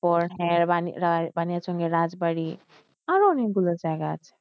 বানিয়াচং এর রাজবাড়ি আরও অনেকগুলো জায়গা আছে।